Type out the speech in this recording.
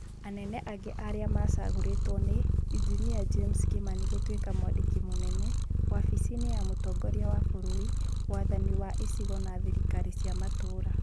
Anene angĩ arĩa macagũrĩtwo nĩ: injinia James Kimani gũtuĩka mwandĩki mũnene, wafici-inĩ ya mũtongoria wa bũrũri, wathani wa icigo na thirikari cĩa matũra.